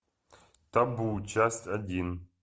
табу часть один